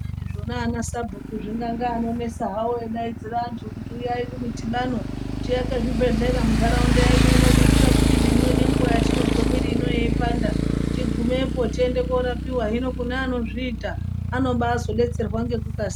Zvona ana sabhuku zvingange anonesa hawo eidaidzire antu kuti uyai kumidhibano tiake zvibhedhlera muntaraunda yedu ino kuitire kuti nemwi nenguwa yatinozwa mwiri yedu ino yeipanda tigumepo tende korapiwa hino kune anozviita anobazodetserwa ngekukasi.